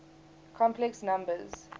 complex numbers